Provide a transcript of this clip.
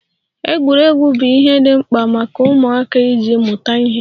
Egwuregwu bụ ihe dị mkpa maka ụmụaka iji mụta ihe.